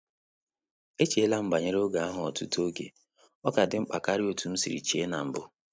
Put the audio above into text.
E cheela m banyere oge ahụ ọtụtụ oge, ọ ka dị mkpa karịa otú m sịrị che na-mbụ